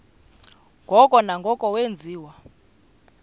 ngoko nangoko wenziwa